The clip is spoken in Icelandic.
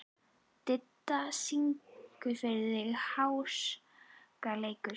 Didda, syngdu fyrir mig „Háskaleikur“.